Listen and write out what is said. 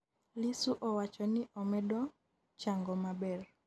Lissu owacho ni omedo chango maber